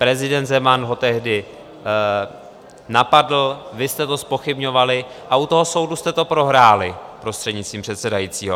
Prezident Zeman ho tehdy napadl, vy jste to zpochybňovali a u toho soudu jste to prohráli, prostřednictvím předsedajícího.